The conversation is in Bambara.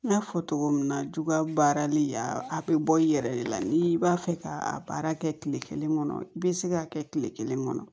N y'a fɔ cogo min na juguya baarali a bɛ bɔ i yɛrɛ de la n'i b'a fɛ ka baara kɛ kile kelen kɔnɔ i bɛ se ka kɛ kile kelen kɔnɔ